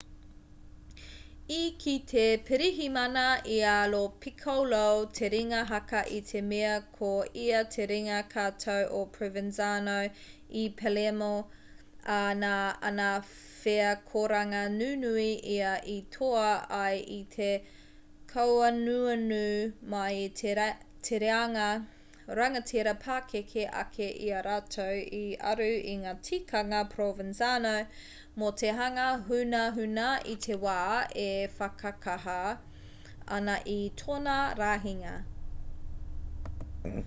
i kī te pirihimana i a lo piccolo te ringa haka i te mea ko ia te ringa katau o provenzano i palermo ā nā ana wheakoranga nunui ia i toa ai i te kauanuanu mai i te reanga rangatira pakeke ake i a rātou i aru i ngā tikanga provenzano mō te hanga hunahuna i te wā e whakakaha ana i tōna rahinga